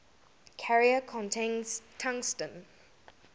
carrier contains tungsten